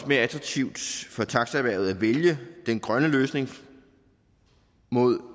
mere attraktivt for taxaerhvervet at vælge den grønne løsning